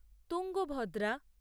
Tungabhadra